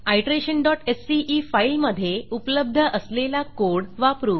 iterationसीई file मधे उपलब्ध असलेला कोड वापरू